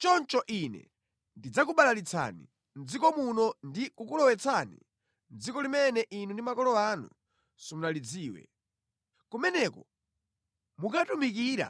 Choncho Ine ndidzakubalalitsani mʼdziko muno ndi kukulowetsani mʼdziko limene inu ndi makolo anu simunalidziwe. Kumeneko mukatumikira